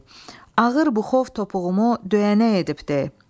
Ağır buxov topuğumu döyənə edib de.